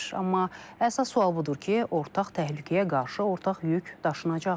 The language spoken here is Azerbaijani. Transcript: Amma əsas sual budur ki, ortaq təhlükəyə qarşı ortaq yük daşınacaqmı?